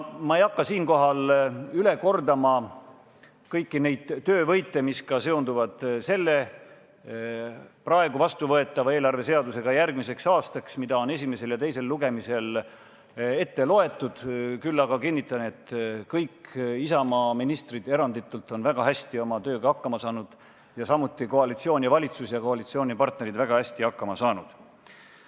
Ma ei hakka siinkohal üle kordama kõiki neid töövõite, mis ka seonduvad selle, praegu vastuvõetava eelarveseadusega järgmiseks aastaks, mida on esimesel ja teisel lugemisel ette loetud, küll aga kinnitan, et kõik Isamaa ministrid, eranditult, on väga hästi oma tööga hakkama saanud, samuti koalitsioon, valitsus ja koalitsioonipartnerid on väga hästi hakkama saanud.